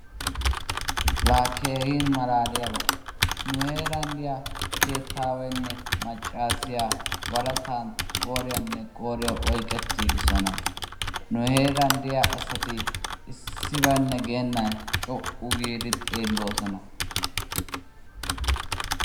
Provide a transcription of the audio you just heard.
Laa keehin malaaliyaba! Nu heeran diya keettawaynne maccasiya waretan qooriyanne qoriya oyqettigidosona. Nu heeran diya asati issibane geenan co'u giidi xeeloosona.